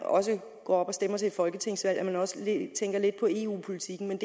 går op og stemmer til et folketingsvalg også tænker lidt på eu politikken men